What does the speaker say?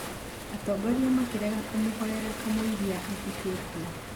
atongoria makĩrega kũmũhoera kamũira athikitwo